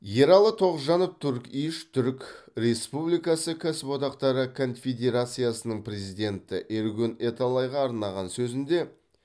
ералы тоғжанов турк иш түрік республикасы кәсіподақтары конфедерациясының президенті эргюн эталайға арнаған сөзінде